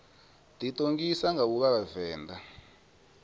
ḓiṱongisa nga u vha vhavenḓa